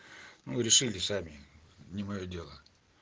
мы решили сами не моё дело